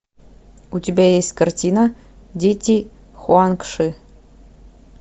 у тебя есть картина дети хуанг ши